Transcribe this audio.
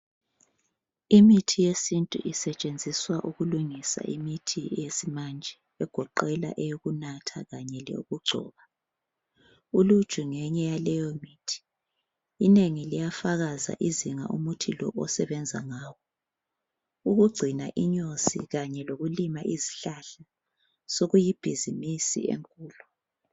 Imithi yesintu isetshenziswa ukulungisa imithi yesimanye, egoqela eyokunatha, eyokugcoba. Uluju ngeyinye yaleyomithi. Inengi liyafakaza izinga umuthi lo omesebenza ngalo. Ukugcina inyosi kanye lokulima izihlahla sekuyibhizimusi enkulu.